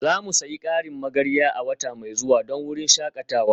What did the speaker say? Za mu sayi ƙarin magarya a wata mai zuwa don wurin shakatawa